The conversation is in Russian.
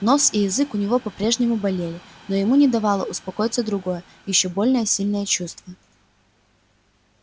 нос и язык у него по прежнему болели но ему не давало успокоиться другое ещё более сильное чувство